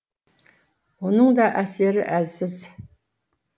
оның да әсері әлсіз